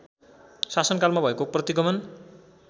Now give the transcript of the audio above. शासनकालमा भएको प्रतिगमन